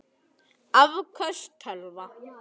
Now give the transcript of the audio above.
Afköst tölva